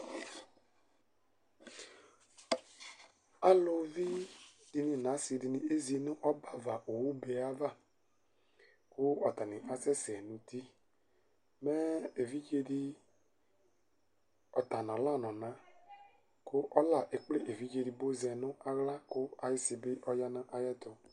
Alʋvidini nʋ asidini ezinʋ ɔbɛ owʋba yɛ ava, kʋ atani asɛsɛ nʋ uti, mɛ evidzedi ɔtanʋ ɔla nʋ ɔna, kʋ ɔla ekplɛ evidze edigbo zɛnʋ aɣla kʋ ayʋ isibi ɔyanʋ ayʋ ɛtʋ